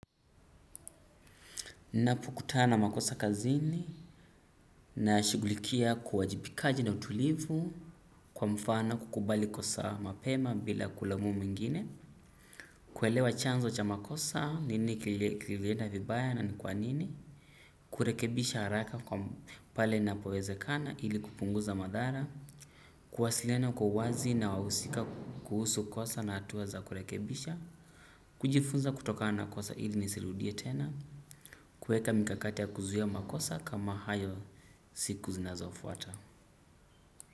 Napokutana na makosa kazini nayashughulikia kwa uwajibikaji na utulivu kwa mfano kukubali kosa mapema bila kulauma mwengine. Kuelewa chanzo cha makosa nini kilienda vibaya na ni kwa nini. Kurekebisha haraka kwa pale na powezekana ili kupunguza madhara. Kwasiliana kwa wazi na wawusika kuhusu kosa na hatuwa za kurekebisha. Kujifunza kutokana kosa ili nisirudie tena. Kweka mikakate ya kuziya makosa kama hayo siku zinazofuata.